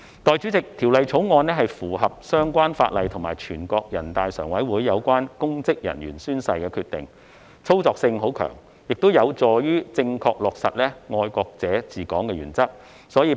代理主席，《條例草案》符合相關法例和全國人大常委會有關公職人員宣誓的決定，操作性很強，也有助於正確落實"愛國者治港"的原則。